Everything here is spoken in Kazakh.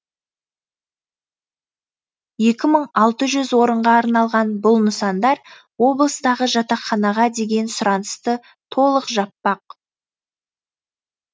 екі мың алты жүз орынға арналған бұл нысандар облыстағы жатақханаға деген сұранысты толық жаппақ